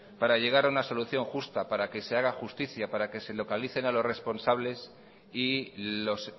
para llegar a una solución justa para que se haga justicia para que se localicen a los responsables y los